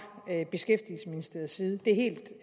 beskæftigelsesministeriets side det er helt